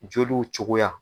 Joliw cogoya.